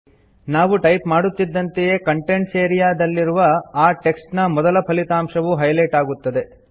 ನಾವು ಟೈಪ್ ಮಾಡುತ್ತಿದಂತೆ contents area ನಲ್ಲಿರುವ ಆ ಟೆಕ್ಸ್ಟ್ ನ ಮೊದಲ ಫಲಿತಾಂಶವು ಹೈಲೈಟ್ ಆಗುತ್ತದೆ